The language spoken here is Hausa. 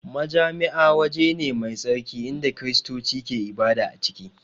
Majami'a waje ne mai tsarki inda Kiristoci ke ibada a ciki